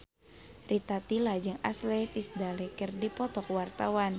Rita Tila jeung Ashley Tisdale keur dipoto ku wartawan